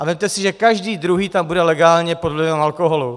A vezměte si, že každý druhý tam bude legálně pod vlivem alkoholu.